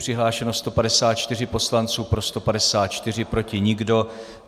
Přihlášeno 154 poslanců, pro 154, proti nikdo.